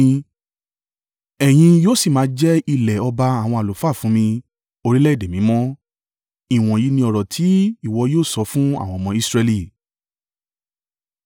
Ẹ̀yin yóò sì máa jẹ́ ilẹ̀ ọba àwọn àlùfáà fún mi, orílẹ̀-èdè mímọ́.’ Ìwọ̀nyí ni ọ̀rọ̀ ti ìwọ yóò sọ fún àwọn ọmọ Israẹli.”